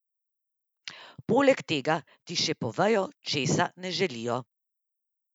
Poleg tega ti še povejo, česa ne želijo.